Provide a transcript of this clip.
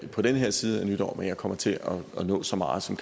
på denne side af nytår men jeg kommer til at nå så meget som